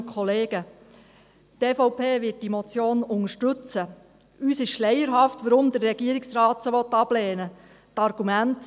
Uns ist es schleierhaft, weshalb der Regierungsrat diese ablehnen will.